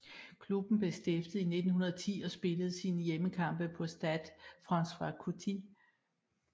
Klubben blev stiftet i 1910 og spiller sine hjemmekampe på Stade François Coty